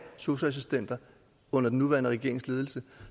sosu assistenter under den nuværende regerings ledelse